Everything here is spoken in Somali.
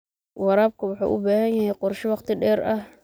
Waraabka waxa uu u baahan yahay qorshe wakhti dheer ah.